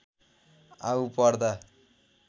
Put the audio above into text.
आउँ पर्दा